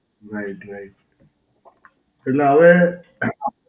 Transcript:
right right. એટલે હવે